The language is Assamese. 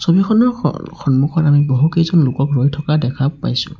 ছবিখনৰ স সন্মুখত আমি বহুকেইজন লোকক ৰৈ থকা দেখা পাইছোঁ।